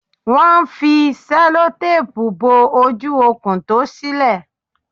Wón n fi sẹ́lótápù bo ojú okùn tó sílè